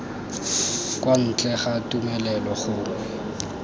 kwa ntle ga tumelelo gongwe